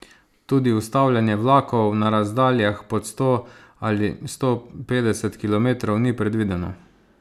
Tudi ustavljanje vlakov na razdaljah pod sto ali sto petdeset kilometrov ni predvideno.